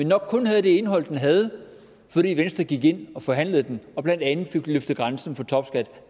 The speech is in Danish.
nok kun havde det indhold den havde fordi venstre gik ind og forhandlede om den og blandt andet fik løftet grænsen for topskat